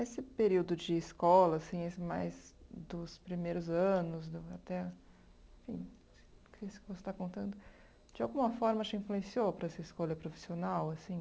Esse período de escola, assim, esse mais dos primeiros anos, do até, enfim, que esse que você está contando, de alguma forma te influenciou para essa escolha profissional, assim?